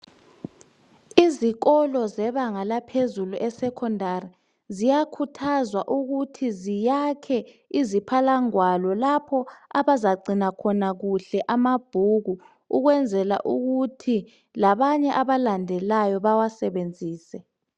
Izikolo zebanga laphezulu e secondary ziyakhuthazwa ukuthi ziyakhe iziphalangwalo lapho abazagcina khona kuhle amabhuku ukwenzela ukuthi labanye abalandelayo bewasebenzise.